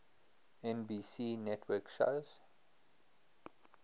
nbc network shows